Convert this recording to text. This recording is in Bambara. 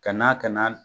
Ka na ka na